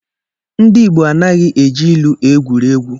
Ndị Igbo anaghị eji ilu egwuri egwu.